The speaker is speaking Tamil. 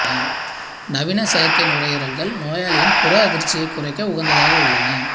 நவீன செயற்கை நுரையீரல்கள் நோயாளியின் புற அதிர்ச்சியைக் குறைக்க உகந்ததாக உள்ளன